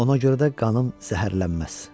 Ona görə də qanım zəhərlənməz.